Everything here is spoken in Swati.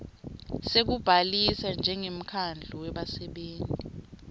sekubhalisa njengemkhandlu webasebenti